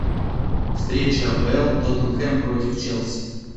встреча апл тоттенхэм против челси